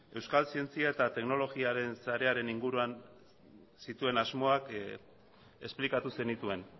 euskal zientzia eta teknologiaren sarearen inguruan zituen asmoak esplikatu zenituen